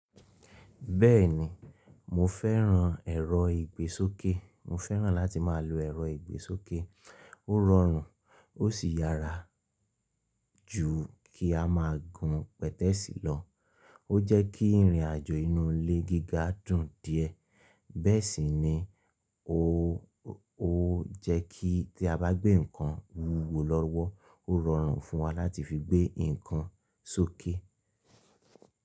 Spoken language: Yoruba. Bẹ́ẹ̀ni, mo fẹ́ran ẹ̀rọ ìgbésókè. Mo fẹ́ran láti má lo ẹ̀rọ ìgbésókè. Ó rọrùn ó sì yàrá jù kí a má gùn pẹ̀tẹ́ẹ̀sì lọ. Ó jẹ́ kí ìrìn àjò inú ilé gíga dùn díẹ̀. Bẹ́ẹ̀ sì ni ó jẹ́ kí tí a bá gbé nǹkan wúwo lọ́wọ́, ó rọrùn fún wa láti fi gbé nǹkan sókè.